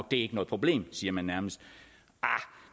det er ikke noget problem siger man nærmest arh